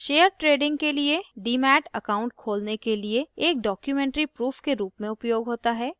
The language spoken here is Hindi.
शेयर trading के लिए डीमैट account खोलने के लिए एक documentary proof के रूप में उपयोग होता है